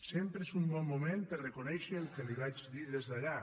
sempre és un bon moment per reconèixer el que li vaig dir des d’allà